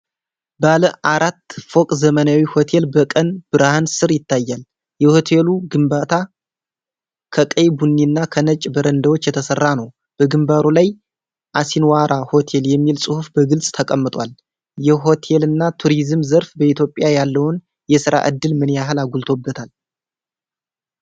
ባለ አራት ፎቅ ዘመናዊ ሆቴል በቀን ብርሃን ስር ይታያል። የሆቴሉ ግንባታ ከቀይ ቡኒና ከነጭ በረንዳዎች የተሰራ ነው። በግንባሩ ላይ "አሲንዋራ ሆቴል" የሚል ጽሑፍ በግልጽ ተቀምጧል። የሆቴልና ቱሪዝም ዘርፍ በኢትዮጵያ ያለውን የሥራ ዕድል ምን ያህል አጎልብቶታል?